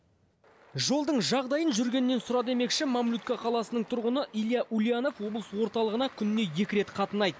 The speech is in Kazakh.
жолдың жағдайын жүргеннен сұра демекші мамлютка қаласының тұрғыны илья ульянов облыс орталығына күніне екі рет қатынайды